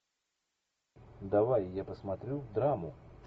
давай я посмотрю драму